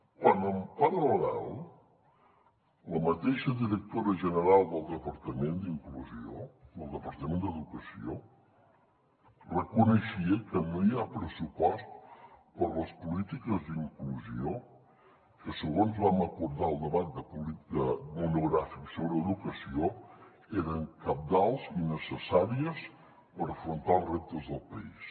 quan en paral·lel la mateixa directora general del departament d’educació reconeixia que no hi ha pressupost per a les polítiques d’inclusió que segons vam acordar al debat monogràfic sobre educació eren cabdals i necessàries per afrontar els reptes del país